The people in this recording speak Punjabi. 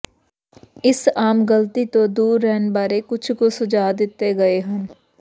ਇਸ ਆਮ ਗ਼ਲਤੀ ਤੋਂ ਦੂਰ ਰਹਿਣ ਬਾਰੇ ਕੁਝ ਕੁ ਸੁਝਾਅ ਦਿੱਤੇ ਗਏ ਹਨ